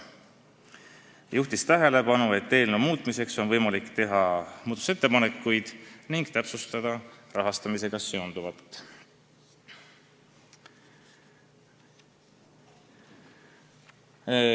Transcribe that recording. Ta juhtis tähelepanu, et eelnõu muutmiseks on võimalik teha muudatusettepanekuid ning täpsustada maksmisega seonduvat.